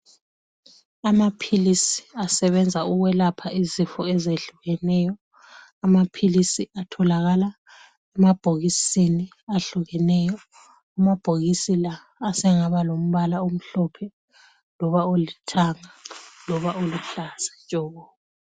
Amaphilisi asebenza ukwelapha izifo ezehlukeneyo, amaphilisi atholakala emabhokisini ahlukeneyo. Amabhokisi la asengaba lombala omhlophe loba olithanga loba oluhlaza tshoko.